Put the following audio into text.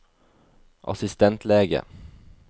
assistentlege